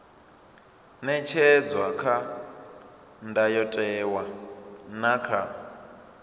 ṅetshedzwa kha ndayotewa na kha